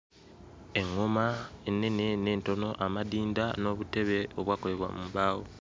Eᵑᵑoma ennene n'entono amadinda n'obutebe obwakolebwa mu mbaawo.